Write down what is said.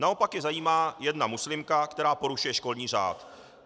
Naopak je zajímá jedna muslimka, která porušuje školní řád.